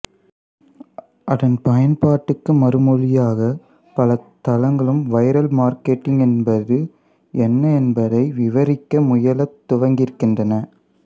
அதன் பயன்பாட்டுக்கு மறுமொழியாக பல தளங்களும் வைரல் மார்க்கெட்டிங் என்பது என்ன என்பதை விவரிக்க முயலத் துவங்கியிருக்கின்றன